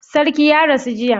Sarki ya rasu jiya?